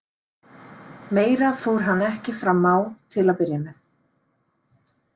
Meira fór hann ekki fram á til að byrja með.